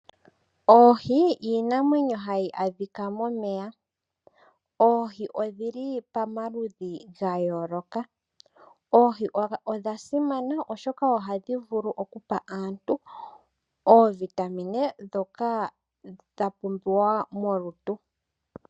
Oohi iinamwenyo hayi adhika momeya. Oohi odhi li pamaludhi ga yooloka. Oohi odha simana, oshoka ohadhi vulu okupa aantu oovitamine ndhoka dha pumbiwa molutu.